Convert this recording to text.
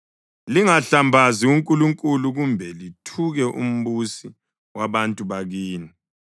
Lingahlambazi uNkulunkulu kumbe lithuke umbusi wabantu bakini.